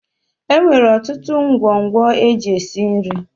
E nwere ọtụtụ ngwongwo e ji esi nri.